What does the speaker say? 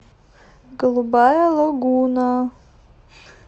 голубая лагуна